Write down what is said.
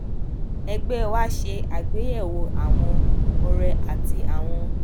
ẹgbẹ wa ṣe àgbéyẹwò àwọn ọrẹ tí àwọn